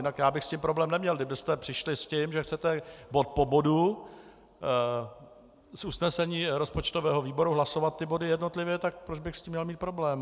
Jinak já bych s tím problém neměl, kdybyste přišli s tím, že chcete bod po bodu z usnesení rozpočtového výboru hlasovat ty body jednotlivě, tak proč bych s tím měl mít problém.